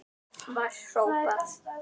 var hrópað.